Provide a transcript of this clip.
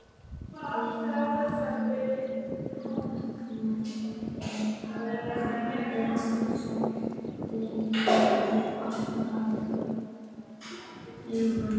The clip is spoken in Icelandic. Þegar hann vaknar er hann lengi að opna augun.